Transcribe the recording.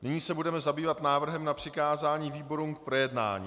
Nyní se budeme zabývat návrhem na přikázání výborům k projednání.